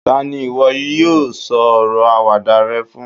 tani iwọ yíò sọ ọrọ Àwàdà rẹ fún